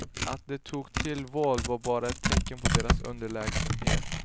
Att de tog till våld var bara ett tecken på deras underlägsenhet.